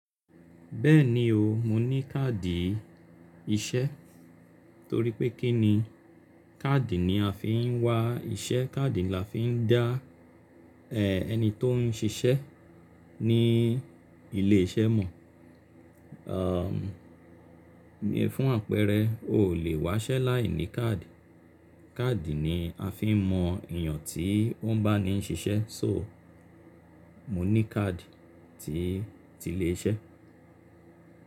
Bẹ́ẹ̀ni o, mo ní káàdì iṣẹ́ torí pé kí ni káàdì ni a fi ń wá iṣẹ́, káàdì ni a fi ń dá ẹni tó ń ṣiṣẹ́ ní ilé iṣẹ́ mọ̀. Aum, ní fún àpẹẹrẹ, o ò lè wá iṣẹ́ láì ní káàdì. Káàdì ni a fi ń mọ èèyàn tí ó ń bá ni ṣiṣẹ́ so, mo ní káàdì tí ti lè iṣẹ́.